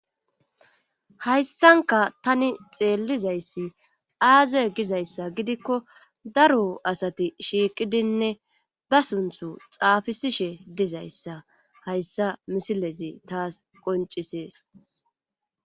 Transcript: Hayssanka tani xeellizayssi aaze gizayssa gidikko daro asati shiiqidinne ba sunthu xaafisishe dizayssa hayssa misilezi taas qoncisees.